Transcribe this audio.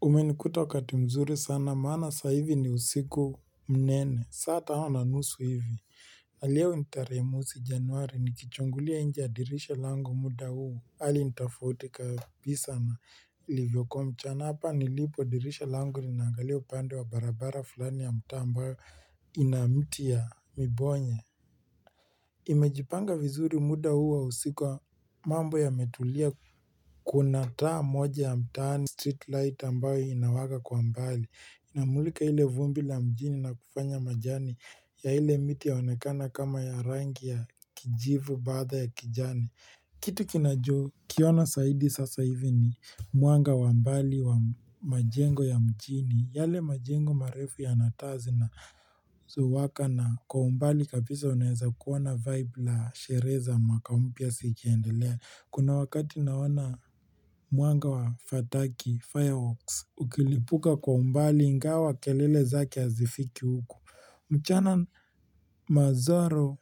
Umenikuta wakati mzuri sana maana sasa hivi ni usiku mnene. Saa tano na nusu hivi. Aliyo in tarehe mosi januari nikichungulia nje ya dirisha lango muda huu. Hali ni tofauti kabisa na ilivyokuwa mchana. Hapa nilipo, dirisha lango linaangalia upande wa barabara fulani ya mtaa ambayo ina miti ya mibonye. Imejipanga vizuri muda huu wa usiku, mambo yametulia. Kuna taa moja ya mtaani. Street light ambayo inawaka kwa mbali. Inamulika ile vumbi la mjini na kufanya majani ya ile miti yaonekane kama ya rangi ya kijivu baada ya kijani kitu ninachokiona zaidi sasa hivi ni mwanga wa mbali wa majengo ya mjini, yale majengo marefu yana taa zinazowaka. Na kwa umbali kabisa unaweza kuona vibe la sherehe mwaka mpya zikiendelea. Kuna wakati naona mwanga wa fataki, fireworks, ukilipuka kwa umbali ingawa kelele zake hazifiki huku mchana manzaro